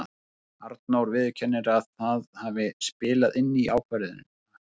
Arnór viðurkennir að það hafi spilað inn í ákvörðunina.